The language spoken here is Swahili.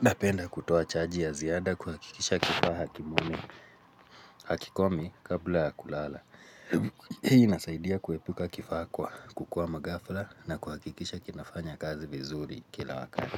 napenda kutoa chaji ya ziada kuhakikisha kifaa hakikomi kabla ya kulala. Hii inasaidia kuepuka kifaa kwa, kukwama ghafla na kuhakikisha kinafanya kazi vizuri kila wakati.